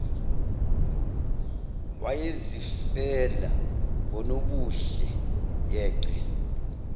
wayezifela ngonobuhle yeqe